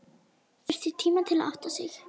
Þurfti tíma til að átta sig.